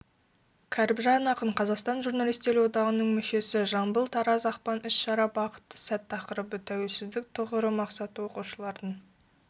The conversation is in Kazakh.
кәріпжан ақын қазақстан журналистер одағының мүшесі жамбыл-тараз ақпан іс-шара бақытты сәт тақырыбы тәуелсіздік тұғыры мақсаты оқушылардың